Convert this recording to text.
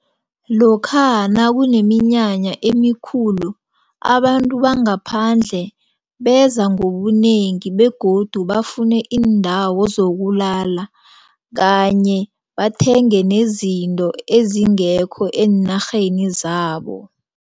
Lokha nakuneminyanya emikhulu abantu bangaphandle beza ngobunengi begodu bafune iindawo zokulala kanye bathenge nezinto ezingekho eenarheni zabo.